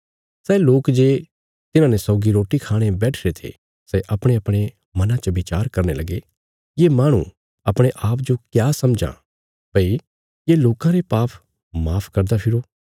सै लोक जे तिन्हाने सौगी रोटी खाणे बैठिरे थे सै अपणेअपणे मनां च विचार करने लगे ये माहणु अपणे आप जो क्या समझां भई ये लोकां रे पाप माफ करदा फिरो